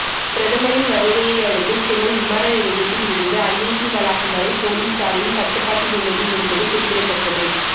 பிரதமரின் வருகையை அடுத்து சென்னை விமான நிலையத்தில் இருந்து ஐஐடி வளாகம் வரை போலீசாரின் கட்டுப்பாட்டில் உள்ளது என்பது குறிப்பிடத்தக்கது